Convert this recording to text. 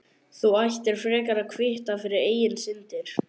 Þú ættir frekar að kvitta fyrir eigin syndir.